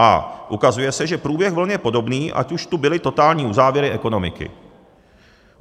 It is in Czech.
A ukazuje se, že průběh vln je podobný, ať už tu byly totální uzávěry ekonomiky.